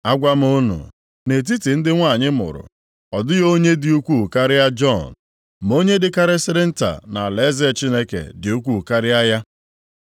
Agwa m unu, nʼetiti ndị nwanyị mụrụ, ọ dịghị onye dị ukwuu karịa Jọn, ma onye dịkarịsịrị nta nʼalaeze Chineke dị ukwuu karịa ya.”